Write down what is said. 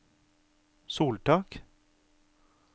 soltak